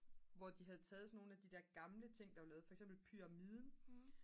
hvor de havde taget sådan nogle af de der gamle ting som var lavet for eksempel pyramiden